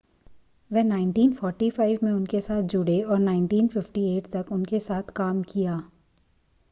वह 1945 में उनके साथ जुड़े और 1958 तक उनके साथ काम किया